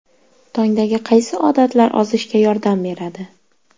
Tongdagi qaysi odatlar ozishga yordam beradi?.